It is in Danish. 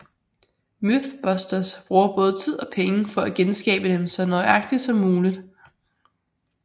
MythBusters bruger både tid og penge for at genskabe dem så nøjagtigt som muligt